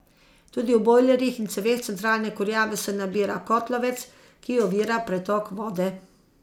Tudi v bojlerjih in ceveh centralne kurjave se nabira kotlovec, ki ovira pretok vode.